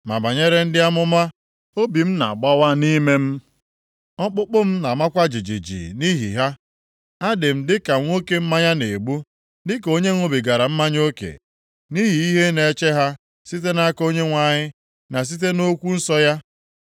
Ma banyere ndị amụma, obi m na-agbawa nʼime m, ọkpụkpụ m na-amakwa jijiji nʼihi ha. Adị m dịka nwoke mmanya na-egbu, dịka onye ṅụbigara mmanya oke, nʼihi ihe na-eche ha site nʼaka Onyenwe anyị, na site nʼokwu nsọ ya.